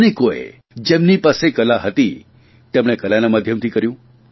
અનેકોએ જેમની પાસે કલા હતી તેમણે કલાના માધ્યમથી કર્યું